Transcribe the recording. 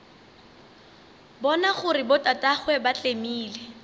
bona gore botatagwe ba tlemile